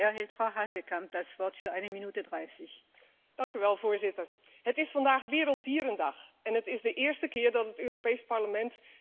Voorzitter, het is vandaag Werelddierendag en het is de eerste keer dat het Europees Parlement debatteert over het welzijn van kuikens in de vleesindustrie.